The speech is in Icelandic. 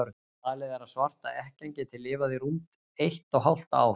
Talið er að svarta ekkjan geti lifað í rúmt eitt og hálft ár.